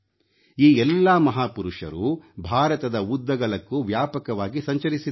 ಈ ಎಲ್ಲಾ ಮಹಾಪುರುಷರೂ ಭಾರತದ ಉದ್ದಗಲಕ್ಕೂ ವ್ಯಾಪಕವಾಗಿ ಸಂಚರಿಸಿದ್ದರು